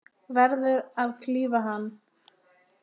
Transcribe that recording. Verður að klífa hann.